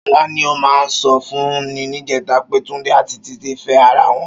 Ṣọlá ni ó mà sọ fún mi níjẹ̀ta pé Túndé àti Títí ń fẹ́ ara wọn